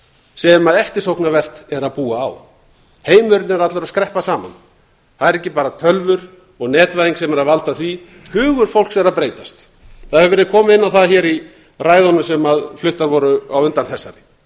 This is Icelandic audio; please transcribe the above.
sem eftirsóknarvert er að búa á heimurinn er allur að skreppa saman það er ekki bara tölvur og netvæðing sem er að valda því hugur fólks er að breytast það hefur verið komið inn á það hér í ræðunum sem fluttar voru á undan þessari